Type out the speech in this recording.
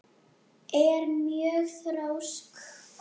Ég er mjög þrjósk.